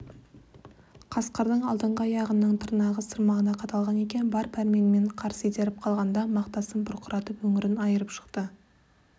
қасқырдың алдыңғы аяғының тырнағы сырмағына қадалған екен бар пәрменімен қарсы итеріп қалғанда мақтасын бұрқыратып өңірін айырып шықты